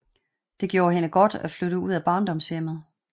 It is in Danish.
Det gjorde hende godt at flytte ud af barndomshjemmet